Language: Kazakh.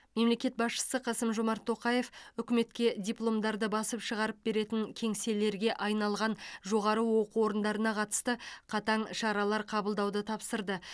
мемлекет басшысы қасым жомарт тоқаев үкіметке дипломдарды басып шығарып беретін кеңселерге айналған жоғары оқу орындарына қатысты қатаң шаралар қабылдауды тапсырды